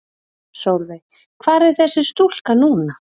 Sólveig: Hvar er þessi stúlka núna?